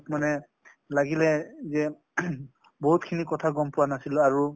মোক মানে লাগিলে যে বহুত খিনি কথা গম পোৱা নাছিলো আৰু ।